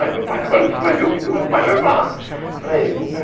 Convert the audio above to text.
Aí, meu pai, agora você vai ver o que que meu pai vai falar para ele né.